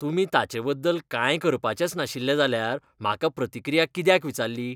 तुमी ताचेबद्दल कांय करपाचेच नाशिल्ले जाल्यार म्हाका प्रतिक्रिया कित्याक विचारली?